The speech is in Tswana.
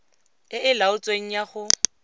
e e laotsweng ya go